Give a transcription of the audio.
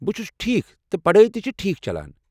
بہٕ چھُس ٹھیٖک تہٕ پڈٲے تہِ چھ ٹھیٖک چلان۔